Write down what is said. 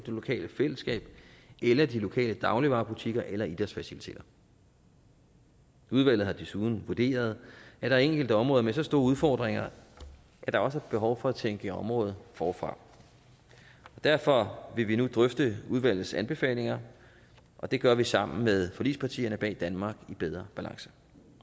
det lokale fællesskab eller de lokale dagligvarebutikker eller idrætsfaciliteter udvalget har desuden vurderet at der er enkelte områder med så store udfordringer at der også er behov for at tænke området forfra derfor vil vi nu drøfte udvalgets anbefalinger og det gør vi sammen med forligspartierne bag danmark i bedre balance